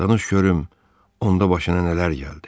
Danış görüm, onda başına nələr gəldi?